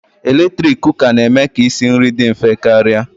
Eletrik Kụka na-eme ka isi nri dị mfe karịa